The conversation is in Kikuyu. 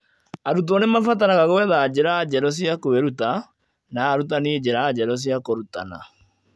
Arutwo nĩ maabataraga gwetha njĩra njerũ cia kwĩruta , na arutani njĩra njerũ cia kũrutana